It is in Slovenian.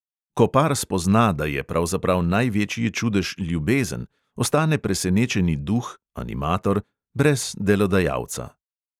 Ko par spozna, da je pravzaprav največji čudež ljubezen, ostane presenečeni duh – animator – brez delodajalca.